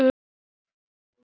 Elsku Ingi.